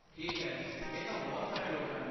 ਠੀਕ ਹੈ, ਇਹ ਤਾਂ ਬਹੁਤ ਸਾਰੇ ਲੋਕ ਹਨ।